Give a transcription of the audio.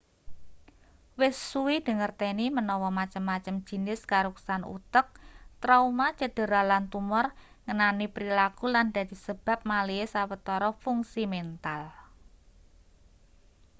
wis suwe dingerteni manawa macem-macem jinis karuksan utek trauma cedera lan tumor ngenani prilaku lan dadi sebab malihe sawetara fungsi mental